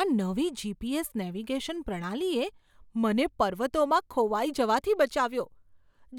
આ નવી GPS. Navigation પ્રણાલીએ મને પર્વતોમાં ખોવાઈ જવાથી બચાવ્યો,